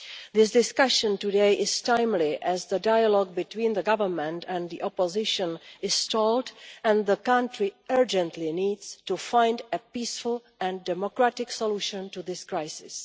Today's discussion is timely as the dialogue between the government and the opposition has stalled and the country urgently needs to find a peaceful and democratic solution to this crisis.